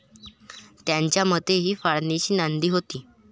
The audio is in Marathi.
त्यांच्या मते हि फाळणीची नांदी होती.